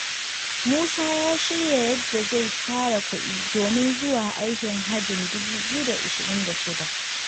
Musa ya shirya yadda zai tara kuɗi domin zuwa aikin hajjin 2026.